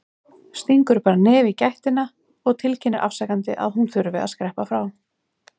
Stingur bara nefi í gættina og tilkynnir afsakandi að hún þurfi að skreppa frá.